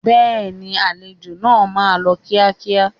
Bẹ́ẹ̀ni, àlejò náà máa lọ kíákíá.